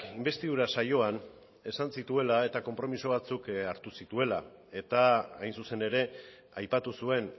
inbestidura saioan esan zituela eta konpromiso batzuk hartu zituela eta hain zuzen ere aipatu zuen